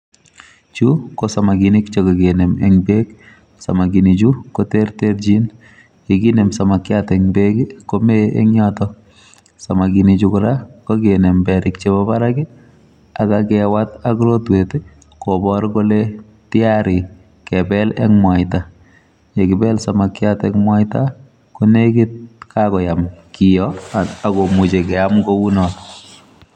Chuu ko samakinik che kakinem en beek samakinik chuu ko terterjiin ye kinem samakinik en beek ii komee en yotoon samakinik chuu kora kakinem periik chebo Barak ak kewaat ak rotweet ii kobaar kole tiarii kebel en mwaitaa ye kibel samakiat en mwaita konegit ko kakoyaan kitoo ak keyaam kou notoon.